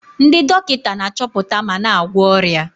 Ndị dọkịta na-achọpụta ma na-agwọ ọrịa.